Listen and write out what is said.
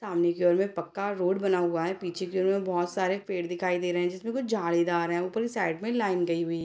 सामने की ओर में पक्का रोड बना हुआ है पीछे की ओर में बहुत सारे पेड़ दिखाई दे रहे है जिसमें कुछ झाड़ी दार है ऊपर के साइड में लाइन गई हुई है।